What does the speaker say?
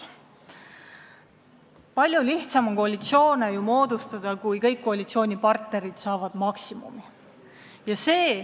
Palju lihtsam on koalitsiooni moodustada, kui kõik koalitsioonipartnerid saavad maksimumi soovitust.